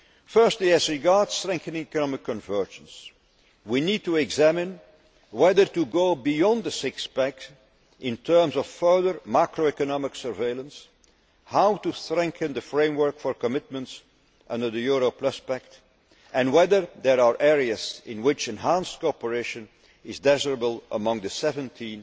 Firstly, as regards strengthening economic convergence, we need to examine whether to go beyond the six pack' in terms of further macroeconomic surveillance, how to strengthen the framework for commitments under the Euro Plus Pact, and whether there are areas in which enhanced cooperation is desirable among the 17